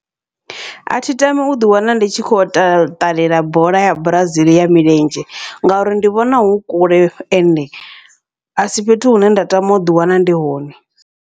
Athi tami uḓi wana ndi tshi kho yo ṱalela bola ya Brazil ya milenzhe, ngauri ndi vhona hu kule ende asi fhethu hune nda tama uḓi wana ndi hone.